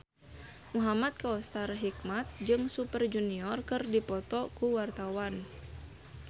Muhamad Kautsar Hikmat jeung Super Junior keur dipoto ku wartawan